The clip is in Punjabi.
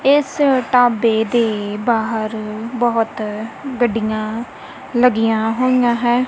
ਇੱਸ ਢਾਬੇ ਦੇ ਬਾਹਰ ਬੋਹੁਤ ਗੱਡੀਆਂ ਲੱਗੀਆਂ ਹੋਈਆਂ ਹੈਂ।